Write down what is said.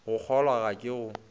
go kgolwa ga ka go